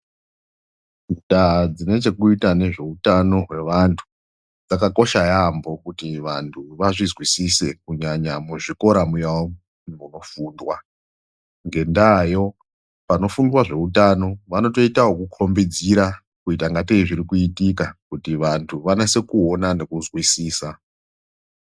Ndaa dzine chekuita nezveutano hwevantu, dzakakosha yaampho kuti vantu vazvizwisise, kunyanya muzvikora muyamu, munofundwa. Ngendaayo panofundwa zveutano vanotoitwa okukhombidzira kuita ingatei zviri kuitika, kuti vantu vanase kuona nekuzwisisa.